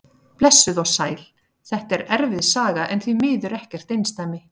Blessuð og sæl, þetta er erfið saga en því miður ekkert einsdæmi.